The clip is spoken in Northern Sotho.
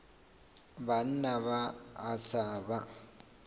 banna ba a sa ba